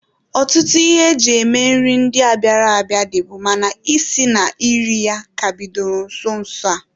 Ọtụtụ ihe e ji eme nri ndịa bịara abịa, dịbu mana isi na iri ya ka bidoro nso nso a.